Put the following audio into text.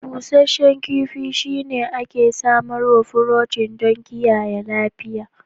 Busasshen kifi shine ake samarwar furotin don kiyaye lafiya